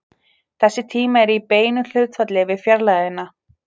Þessi tími er í beinu hlutfalli við fjarlægðina.